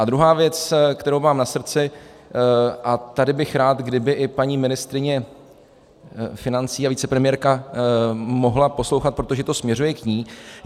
A druhá věc, kterou mám na srdci, a tady bych rád, kdyby i paní ministryně financí a vicepremiérka mohla poslouchat, protože to směřuje k ní.